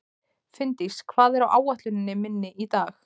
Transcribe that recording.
Finndís, hvað er á áætluninni minni í dag?